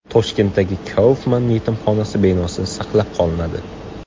Toshkentdagi Kaufman yetimxonasi binosi saqlab qolinadi.